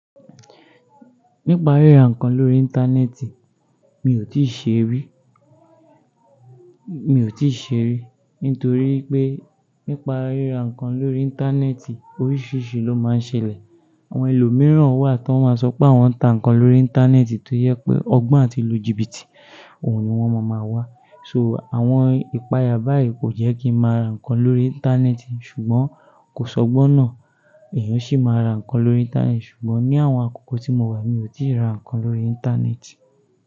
Nípa ríra nǹkan lórí Íńtánẹ́ẹ̀tì, mi ò tí ì ṣe rí, mi ò tí ì ṣe rí. Nítorí pé nípa ríra nǹkan lórí Íńtánẹ́ẹ̀tì, oríṣìíríṣìí ló máa ń ṣẹlẹ̀. Àwọn ẹlòmíràn wà tó máa sọ pé àwọn ń ta nǹkan lórí Íńtánẹ́ẹ̀tì tó yẹ pé ọgbọ́n àti lù jìbìtì, òun ni wọ́n máa ma wá. So, àwọn ìpààyà báyìí kò jẹ́ kí n máa ra nǹkan lórí Íńtánẹ́ẹ̀tì ṣùgbọ́n kò sọ gbọ́n náà, ẹ̀yàn sì máa ra nǹkan lórí Íńtánẹ́ẹ̀tì ṣùgbọ́n ní àwọn àkókò tí mo wà, mi ò tí ì ra nǹkan lórí Íńtánẹ́ẹ̀tì.